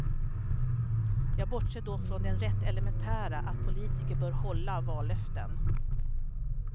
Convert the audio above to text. Jag bortser då från den rätt elementära, att politiker bör hålla vallöften.